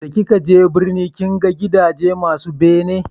da ki ka je birni kin ga gidaje masu bene?